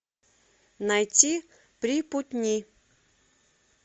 найти припутни